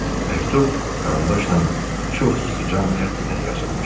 Məktub karandaşla çox yığcam xəttlə yazılmışdı.